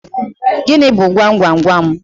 Gịnị bu gwam gwam gwam?